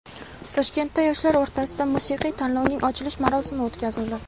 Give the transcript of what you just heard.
Toshkentda yoshlar o‘rtasidagi musiqiy tanlovning ochilish marosimi o‘tkazildi.